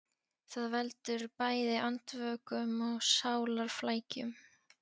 Það veldur bæði andvökum og sálarflækjum.